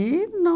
não.